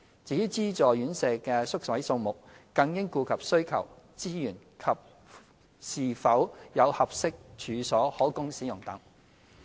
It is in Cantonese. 至於資助院舍的宿位數目，更應顧及需求、資源及是否有合適處所可供使用等。